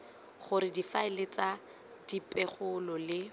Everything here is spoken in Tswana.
gore difaele tsa dipegelo le